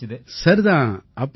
சரி தான் அப்படியா